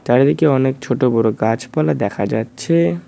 চারিদিকে অনেক ছোট বড় গাছপালা দেখা যাচ্ছে।